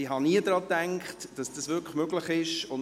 Ich habe nie gedacht, dass dies möglich ist.